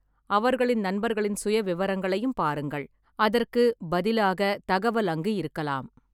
அவர்களின் நண்பர்களின் சுயவிவரங்களையும் பாருங்கள். அதற்கு பதிலாக தகவல் அங்கு இருக்கலாம்.